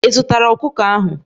Ị zụtara ọkụkọ ahụ?